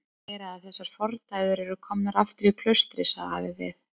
Það má heyra að þessar fordæður eru komnar aftur í klaustrið, sagði afi við